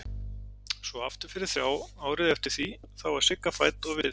Svo aftur fyrir þrjá árið eftir því þá var Sigga fædd og við